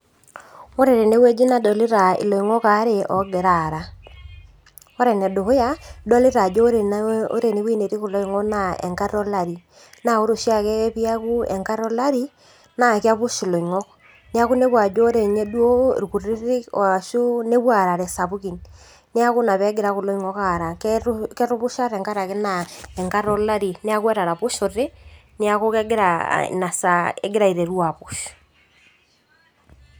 Ore tenewueji nadolita iloing'ok aare oogira aara ore enedukuya idolita ajo ore enewuei netii kulo oing'ok naa enkata olari naa ore oshiake piaku enkata olari naa kepush iloing'ok niaku inepu ajo ore inye duo irkutitik oashu nepuo aarare isapukin niaku ina peegira kulo oing'ok aara ketu ketupusha tenkarake naa enkata olari niaku etaraposhote niaku kegira ina saa egira aiteru aapush.